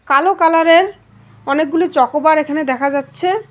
কালো কালার এর অনেকগুলি চকোবার এখানে দেখা যাচ্ছে।